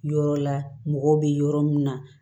Yɔrɔ la mɔgɔw bɛ yɔrɔ min na